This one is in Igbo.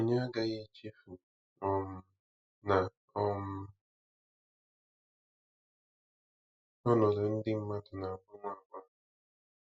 Anyị agaghị echefu um na um ọnọdụ ndị mmadụ na-agbanwe.